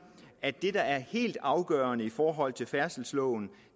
at det der er helt afgørende i forhold til færdselsloven